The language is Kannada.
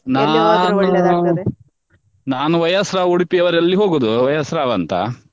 ನಾನು ನಾನು Y S Rao ಉಡುಪಿಯವರಲಿ ಹೋಗುದು Y S Rao ಅಂತ.